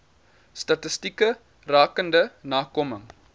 statistieke rakende nakoming